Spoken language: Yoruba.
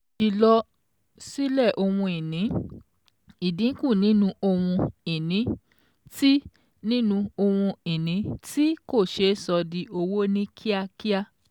Ìlọ sílẹ̀ ohun ìní: ìdínkù nínú Ohun-ìní tí nínú Ohun-ìní tí kò ṣeé sọ di owó ní kíákíá.